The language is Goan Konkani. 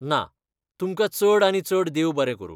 ना, तुमकां चड आनी चड देव बरें करूं.